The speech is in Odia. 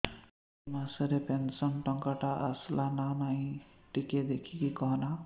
ଏ ମାସ ରେ ପେନସନ ଟଙ୍କା ଟା ଆସଲା ନା ନାଇଁ ଟିକେ ଦେଖିକି କହନା